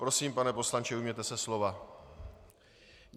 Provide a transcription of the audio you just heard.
Prosím, pane poslanče, ujměte se slova.